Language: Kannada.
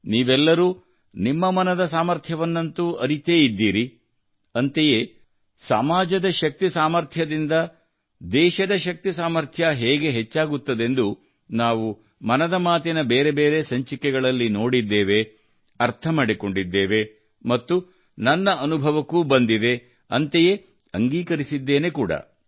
ನೀವೆಲ್ಲರೂ ನಿಮ್ಮ ಮನದ ಸಾಮರ್ಥ್ಯವನ್ನಂತೂ ಅರಿತೇ ಇದ್ದೀರಿ ಅಂತೆಯೇ ಸಮಾಜದ ಶಕ್ತಿ ಸಾಮರ್ಥ್ಯದಿಂದ ದೇಶದ ಶಕ್ತಿ ಸಾಮರ್ಥ್ಯ ಹೇಗೆ ಹೆಚ್ಚಾಗುತ್ತದೆಂದು ನಾವು ಮನದ ಮಾತಿನ ಬೇರೆ ಬೇರೆ ಸಂಚಿಕೆಗಳಲ್ಲಿ ನೋಡಿದ್ದೇವೆ ಅರ್ಥ ಮಾಡಿಕೊಂಡಿದ್ದೇವೆ ಮತ್ತು ನನ್ನ ಅನುಭವಕ್ಕೂ ಬಂದಿದೆ ಅಂತೆಯೇ ಅಂಗೀಕರಿಸಿದ್ದೇನೆ ಕೂಡಾ